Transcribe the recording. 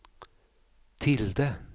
tilde